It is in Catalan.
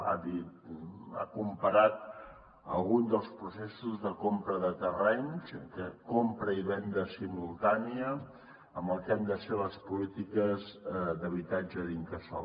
ha comparat algun dels processos de compra de terrenys de compra i venda simultània amb el que han de ser les polítiques d’habitatge de l’incasòl